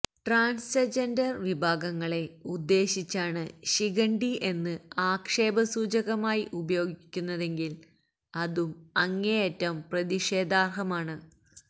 transgender വിഭാഗങ്ങളെ ഉദ്ദേശിച്ചാണ് ശിഖണ്ഡി എന്ന് ആക്ഷേപസൂചകമായി ഉപയോഗിക്കുന്നതെങ്കിൽ അതും അങ്ങേയറ്റം പ്രതിഷേധാർഹമാണ്